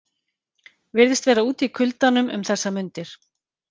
Virðist vera úti í kuldanum um þessar mundir.